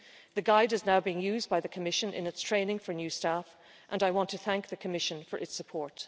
The guide is now being used by the Commission in its training for new staff and I want to thank the Commission for its support.